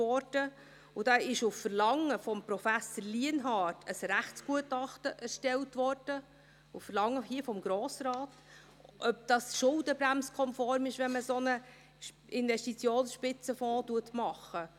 Für diesen wurde auf Verlangen des Grossen Rates von Professor Lienhard ein Rechtsgutachten erstellt, darüber, ob es schuldenbremsen-konform ist, wenn man einen solchen Investitionsspitzenfonds macht.